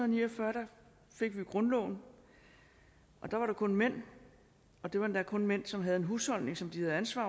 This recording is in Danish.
ni og fyrre fik vi grundloven og da var det kun mænd og det var endda kun de mænd som havde en husholdning som de havde ansvar